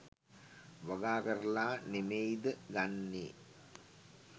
වගා කරලා නෙමෙයිද ගන්නේ?